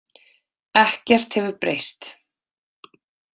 Ekkert hefur breyst